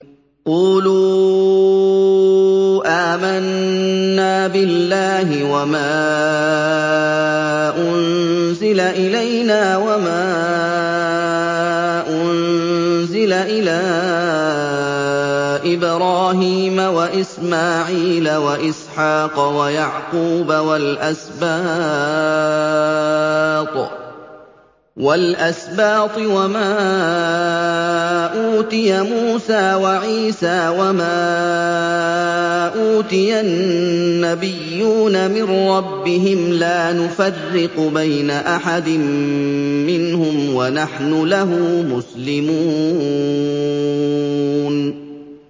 قُولُوا آمَنَّا بِاللَّهِ وَمَا أُنزِلَ إِلَيْنَا وَمَا أُنزِلَ إِلَىٰ إِبْرَاهِيمَ وَإِسْمَاعِيلَ وَإِسْحَاقَ وَيَعْقُوبَ وَالْأَسْبَاطِ وَمَا أُوتِيَ مُوسَىٰ وَعِيسَىٰ وَمَا أُوتِيَ النَّبِيُّونَ مِن رَّبِّهِمْ لَا نُفَرِّقُ بَيْنَ أَحَدٍ مِّنْهُمْ وَنَحْنُ لَهُ مُسْلِمُونَ